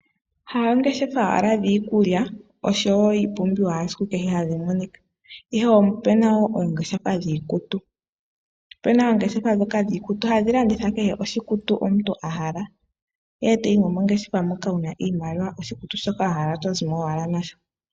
Kakele koongeshefa dhiikulya oshowo iipumbiwa yesiku kehe hayi monika ,opuna woo oongeshefa dhiikutu . Opuna oongeshefa dhiikutu hadhi landitha kehe oshikutu shoka omuntu ahala, ngele wayimo mongeshefa wuna iimaliwa oshikutu shoka wahala oto zimo owala nasho.